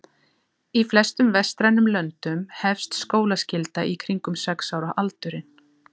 Í flestum vestrænum löndum hefst skólaskylda í kringum sex ára aldurinn.